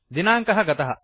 दिनाङ्कः गतः